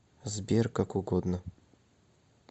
сбер как угодно